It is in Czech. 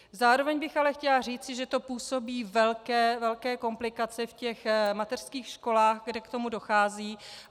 Zároveň bych ale chtěla říci, že to působí velké komplikace v těch mateřských školách, kde k tomu dochází.